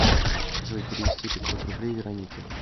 джой перевести пятьсот рублей веронике